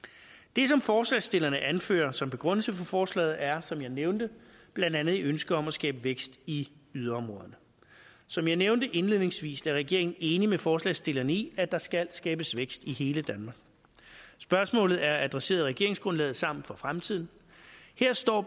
det som forslagsstillerne anfører som begrundelse for forslaget er som jeg nævnte blandt andet et ønske om at skabe vækst i yderområderne som jeg nævnte indledningsvis er regeringen i enig med forslagsstillerne i at der skal skabes vækst i hele danmark spørgsmålet er adresseret i regeringsgrundlaget sammen for fremtiden her står